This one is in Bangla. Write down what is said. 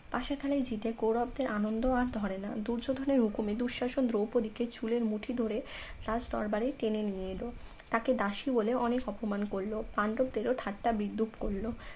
পাশা খেলায় জিতে কৌরবদের আনন্দ আর ধরে না দুর্যোধনের হুকুমে দুঃশাসন দ্রৌপদীকে চুলের মুঠি ধরে রাজ দরবারে টেনে নিয়ে এলো তাকে দাসী বলে অনেক অপমান করলো পাণ্ডবদেরও ঠাট্টা বিদ্রুপ করলো